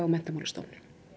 Menntamálastofnun